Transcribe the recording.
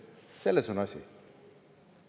Selles on asi.